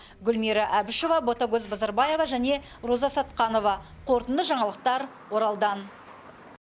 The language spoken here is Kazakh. гүлмира әбішева ботакөз базарбаева және роза сатқанова қорытынды жаңалықтар оралдан